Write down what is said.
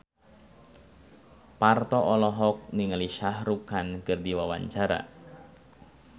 Parto olohok ningali Shah Rukh Khan keur diwawancara